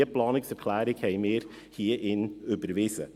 Diese Planungserklärung haben wir hier drinnen überwiesen.